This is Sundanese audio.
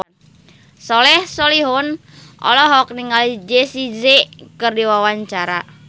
Soleh Solihun olohok ningali Jessie J keur diwawancara